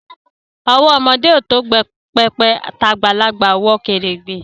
Owo omode o to pepe, t'agbalagba o wo keregbe